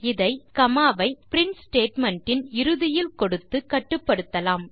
இதை காமா ஐ print statement இன் இறுதியில் கொடுத்து கட்டுப்படுத்தலாம்